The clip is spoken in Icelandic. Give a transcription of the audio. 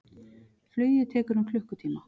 Flugið tekur um klukkutíma.